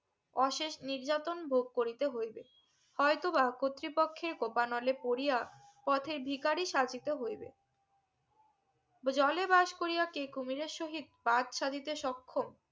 অশেষ নির্যাতন ভোগ করিতে হইবে হয়তোবা কর্তৃপক্ষে কোপা নলে পরিয়া পথে ভিক্ষারি সাজিতে হইবে জলে বাস করিয়া কে কুমিরের সহিত বাজ সাজিতে সক্ষম